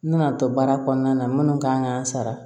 N nana to baara kɔnɔna na minnu kan k'an sara